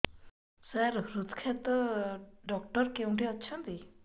ସାର ହୃଦଘାତ ଡକ୍ଟର କେଉଁଠି ଅଛନ୍ତି